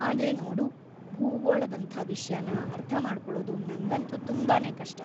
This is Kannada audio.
ಆದ್ರೆ ನೋಡು, ಭೂಗೋಳದಂಥ ವಿಷ್ಯನ ಅರ್ಥಮಾಡ್ಕೊಳೋದು ನಂಗಂತೂ ತುಂಬಾನೇ ಕಷ್ಟ.